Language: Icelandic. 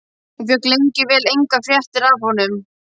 Hún fékk lengi vel engar fréttir af honum.